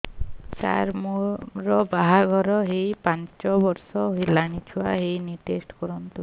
ସାର ମୋର ବାହାଘର ହେଇ ପାଞ୍ଚ ବର୍ଷ ହେଲାନି ଛୁଆ ହେଇନି ଟେଷ୍ଟ କରନ୍ତୁ